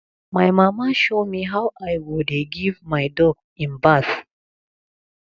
my mama show me how i go dey give my dog im bath